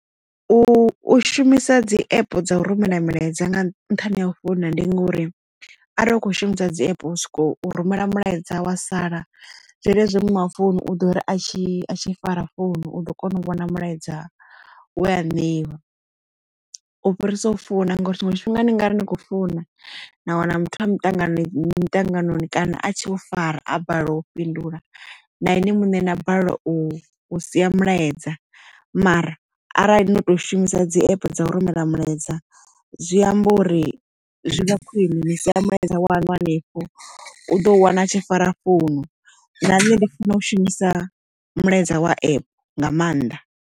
U shumisa dzi app dza u rumela milaedza nga nṱhani ha u founa ndi ngori arali u kho shumisa dzi app u soko u rumela mulaedza wa sala zwenezwi muṋe wa founu u dori atshi a tshi fara founu u ḓo kona u vhona mulaedza we a ṋeiwa u fhirisa u founa ngauri tshiṅwe tshifhinga ni ngari ni kho funa na wana muthu a muṱanganoni mitanganoni kana a tshe o fara a balelwa u fhindula na ene muṋe a balelwa u sia mulaedza mara arali ndo to shumisa dzi app dza u rumela mulaedza zwi amba uri zwi vha khwine ni sia mulaedza waṋu henefho u do u wana a tshi fara founu na nṋe ndi funa u shumisa mulaedza wa app nga maanḓa.